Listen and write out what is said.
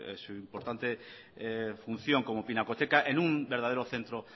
a su importante función como pinacoteca en un verdadera centro